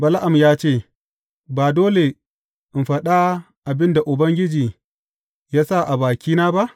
Bala’am ya ce, Ba dole in faɗa abin da Ubangiji ya sa a bakina ba?